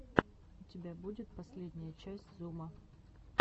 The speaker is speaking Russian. у тебя будет последняя часть зума